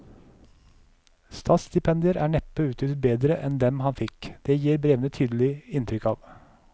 Statsstipendier er neppe utnyttet bedre enn dem han fikk, det gir brevene tydelig inntrykk av.